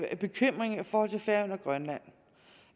forhold til færøerne og grønland